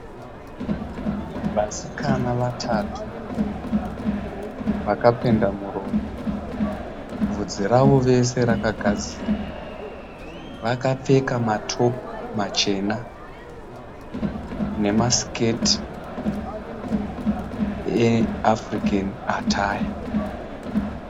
Vasikana vatatu vakapenda muromo, bvudzi ravo vese rakagadzirwa, vakapfeka matopu machena nemasiketi eAfrican attire.